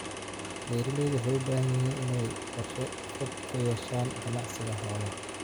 Beeralaydu waxay u baahan yihiin inay qorshe fog ka yeeshaan ganacsiga xoolaha.